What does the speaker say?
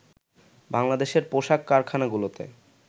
বাংলাদেশের পোশাক কারখানাগুলোতে